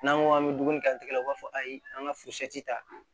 N'an ko an bɛ dumuni kɛ tigɛ la u b'a fɔ ayi an ka furu siyan ta